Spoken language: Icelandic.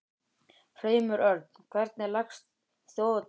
Hreimur Örn, hvernig leggst Þjóðhátíð í þig?